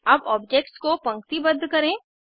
अब ऑब्जेक्ट्स को पंक्तिबद्ध करें